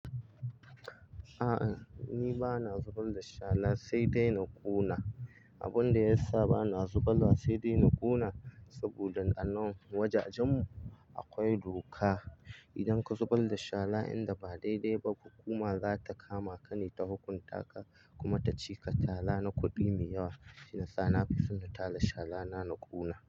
A'a ni ba na zubar da shara sai dai na kona. Abun da ya sa ba na zubarwa sai dai na kona saboda a nan wajajen mu akwai doka. Idan ka zubar da shara inda ba daidai ba hukuma zata kama ka ne ta hukunta ka kuma ta cika tara na kudi mai yawa. Shi yasa na fi son na tara shara na, na kona.